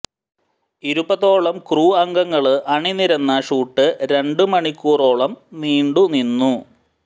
ഇരുപതോളം ക്രൂ അംഗങ്ങള് അണിനിരന്ന ഷൂട്ട് രണ്ടു മണിക്കൂറോളം നീണ്ടു നിന്നു